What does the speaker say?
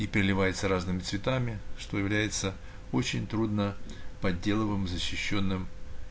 и переливается разными цветами что является очень трудно подделываемым защищённым